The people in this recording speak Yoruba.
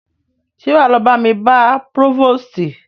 Ṣé wá lọ bá mi bá próvòstì?